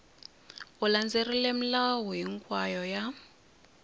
u landzelerile milawu hinkwayo ya